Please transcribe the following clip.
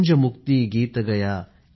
गूंज मुक्ति गीत गया